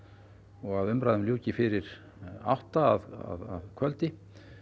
og að umræðum ljúki fyrir átta að kvöldi